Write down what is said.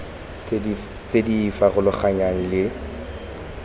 tse di e farologanyang le